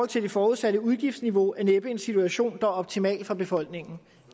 til det forudsatte udgiftsniveau er næppe en situation der er optimal for befolkningen